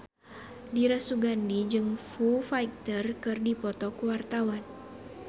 Dira Sugandi jeung Foo Fighter keur dipoto ku wartawan